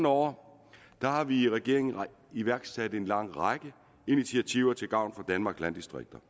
år har vi i regeringen iværksat en lang række initiativer til gavn for danmarks landdistrikter